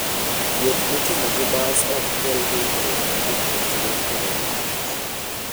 Wuoth mitimo gi bas ok kel hinyruok ne jopuonjre koda jotich.